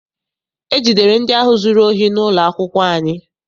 E jidere ndị ahụ zụrụ ohi n'ụlọ akwụkwọ anyị.